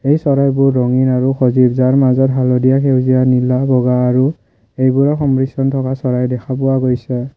এই চৰাইবোৰ ৰঙীন আৰু সজীৱ যেন যাৰ মাজত হালধীয়া সেউজীয়া নীলা বগা আৰু সেইবোৰৰ সংমিশ্ৰন থকা চৰাই দেখা পোৱা গৈছে।